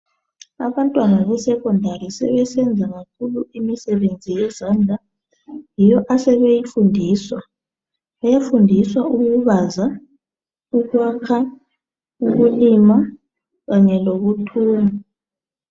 Abantwana besekhondari sebenza kakhulu imisebenzi yezandla yiyo asebeyifundiswa. Bayafundiswa ukubaza, ukwakha, ukulima kanye lokuthunga.